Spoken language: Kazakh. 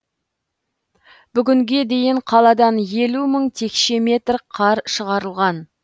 бүгінге дейін қаладан елу мың текше метр қар шығарылған